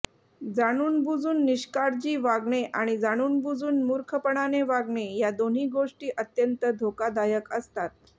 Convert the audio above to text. जाणूनबुजून निष्काळजी वागणे आणि जाणूनबुजून मूर्खपणाने वागणे या दोन्ही गोष्टी अत्यंत धोकादायक असतात